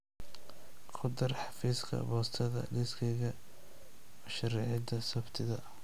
ku dar xafiiska boostada liiskayga mashaariicda sabtida